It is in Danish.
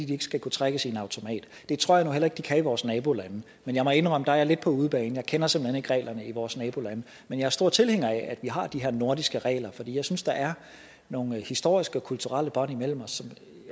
de ikke skal kunne trækkes i en automat det tror jeg nu heller ikke de kan i vores nabolande men jeg må indrømme der er lidt på udebane jeg kender simpelt hen ikke reglerne i vores nabolande men jeg er stor tilhænger af at vi har de her nordiske regler for jeg synes der er nogle historiske og kulturelle bånd imellem os